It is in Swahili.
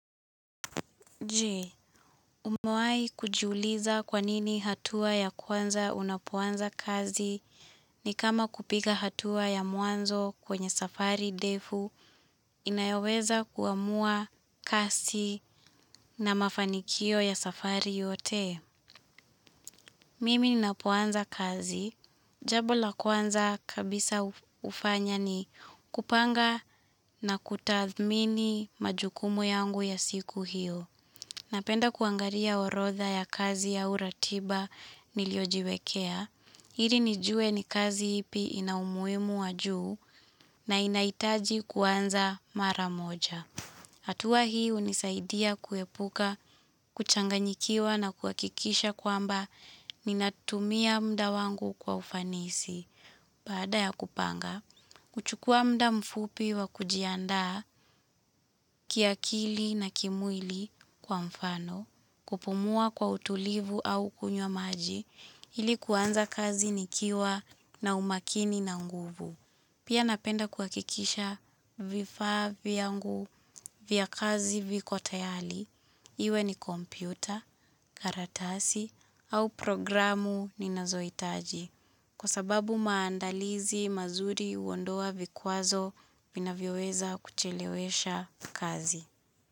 Je, umewahi kujiuliza kwa nini hatua ya kwanza unapoanza kazi ni kama kupiga hatua ya mwanzo kwenye safari ndefu inayoweza kuamua kasi na mafanikio ya safari yote? Mimi ninapoanza kazi. Jambo la kwanza kabisa hufanya ni kupanga na kutathmini majukumu yangu ya siku hiyo. Napenda kuangalia orodha ya kazi au ratiba niliyojiwekea. Ili nijue ni kazi ipi ina umuhimu wa juu na inahitaji kuanza mara moja. Hatua hii hunisaidia kuepuka kuchanganyikiwa na kuhakikisha kwamba ninatumia muda wangu kwa ufanisi. Baada ya kupanga, kuchukua muda mfupi wa kujiandaa kiakili na kimwili kwa mfano kupumua kwa utulivu au kunywa maji ili kuanza kazi nikiwa na umakini na nguvu. Pia napenda kuhakikisha vifaa vyangu vya kazi viko tayari, iwe ni kompyuta, karatasi, au programu ninazohitaji. Kwa sababu maandalizi mazuri huondoa vikwazo vinavyoweza kuchelewesha kazi.